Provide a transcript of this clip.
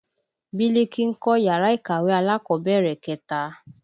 Biliki ń kọ́ yàrá ìkàwé alákọ̀bẹ̀rẹ̀ kẹta